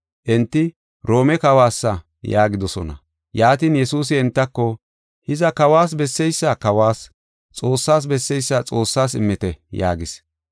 Enti, “Roome Kawoysa” yaagidosona. Yaatin Yesuusi entako, “Hiza, Kawas besseysa kawas, Xoossas besseysa Xoossas immite” yaagis.